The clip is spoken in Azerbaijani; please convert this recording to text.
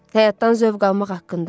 Həyatdan zövq almaq haqqında.